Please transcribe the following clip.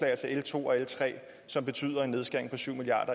altså l to og l tre som betyder en nedskæring på syv milliard